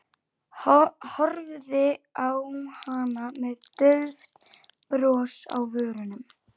Horfði á hana með dauft bros á vörunum.